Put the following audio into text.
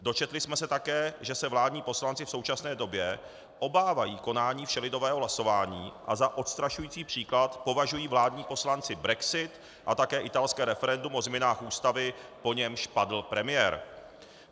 Dočetli jsme se také, že se vládní poslanci v současné době obávají konání všelidového hlasování a za odstrašující příklad považují vládní poslanci brexit a také italské referendum o změnách ústavy, po němž padl premiér.